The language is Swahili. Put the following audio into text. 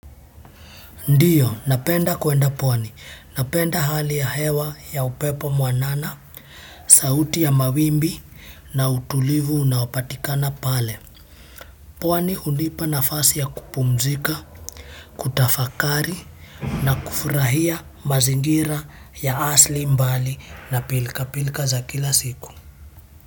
Ndiyo, napenda kuenda pwani. Napenda hali ya hewa ya upepo mwanana, sauti ya mawimbi na utulivu unaopatikana pale. Pwani hunipa nafasi ya kupumzika kutafakari na kufurahia mazingira ya asili mbali na pilka pilka za kila siku.